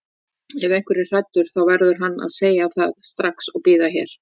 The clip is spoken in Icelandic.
Ef einhver er hræddur þá verður hann að segja það strax og bíða hér.